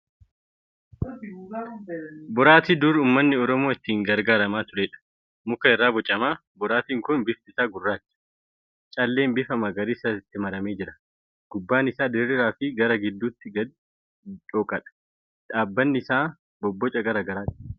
Boraatii dur ummanni Oromoo itti gargaaramaa turedha. Muka irra bocama. Boraatiin kun bifti isaa gurraacha. Calleen bifa magariisaa itti maramee jira. gubbaan isaa diriiraa fi gara gidduun gadi dhooqaadha. Dhaabbanni isaa bobboca garaa garaa qaba.